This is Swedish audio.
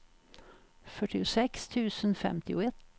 fyrtiosex tusen femtioett